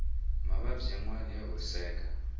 mavabyi yanwani ya horiseka